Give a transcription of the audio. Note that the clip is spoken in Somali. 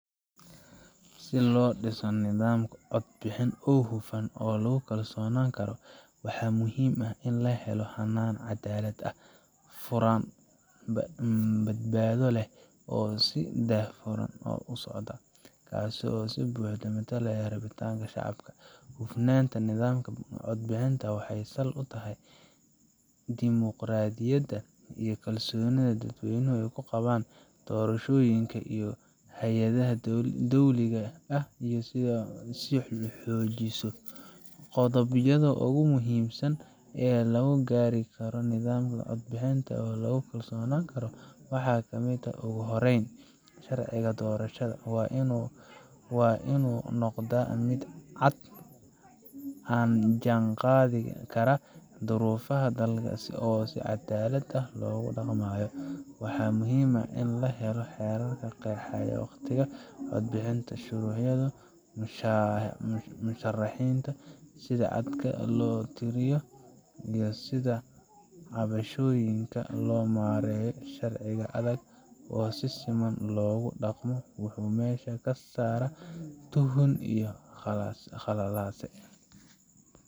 Si loo dhiso nidaam codbixin oo hufan oo lagu kalsoonaan karo, waxaa muhiim ah in la helo hannaan caddaalad ah, furan, badbaado leh, oo si daahfuran u socda kaas oo si buuxda u matala rabitaanka shacabka. Hufnaanta nidaamka codbixinta waxay sal u tahay dimuqraadiyadda iyo in kalsoonida dadweynuhu ku qabaan doorashooyinka iyo hay’adaha dowliga ah ay sii xoogeyso. Qodobbada ugu muhiimsan ee lagu gaari karo nidaam codbixin oo lagu kalsoonaan karo waxaa ka mid ah: Ugu horreyn, sharciga doorashada waa inuu noqdaa mid cad, la jaanqaadi kara duruufaha dalka, oo si caddaalad ah loogu dhaqmayo. Waxaa muhiim ah in la helo xeerar qeexaya waqtiyada codbixinta, shuruudaha murashaxiinta, sida codadka loo tiriyo, iyo sida cabashooyinka loo maareeyo. Sharci adag oo si siman loogu dhaqmo wuxuu meesha ka saaraa tuhun iyo khalalaase.